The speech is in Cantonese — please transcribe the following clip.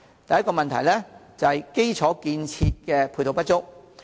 第一，基礎設施配套不足。